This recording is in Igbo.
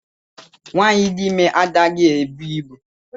Nwaanyi dị ime anaghị ebu ibu.